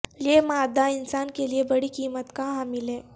یہ مادہ انسان کے لئے بڑی قیمت کا حامل ہے